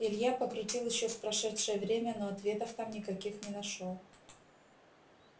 илья покрутил ещё в прошедшее время но ответов там никаких не нашёл